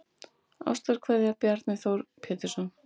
Ástarkveðja Bjarni Þór Pétursson